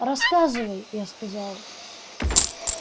рассказывай я сказал